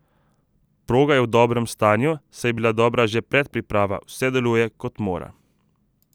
Proga je v dobrem stanju, saj je bila dobra že predpriprava, vse deluje, kot mora.